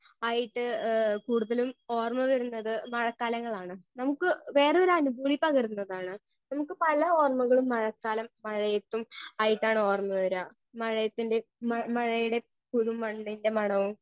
Speaker 1 ആയിട്ട് ഏ കൂടുതലും ഓര്മ വരുന്നത് മഴക്കാലങ്ങളാണ് നമുക്ക് വേറൊരു അനുഭൂതി പകരുന്നതാണ് നമുക്ക് പല ഓർമകളും മഴക്കാലം മഴയത്തും ആയിട്ടാണ് ഓർമ വരാ മഴയത്തിന്റെ മ മഴയുടെ പുതു മണ്ണിന്റെ മണവും.